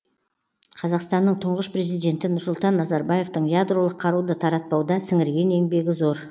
қазақстанның тұңғыш президенті нұрсұлтан назарбаевтың ядролық қаруды таратпауда сіңірген еңбегі зор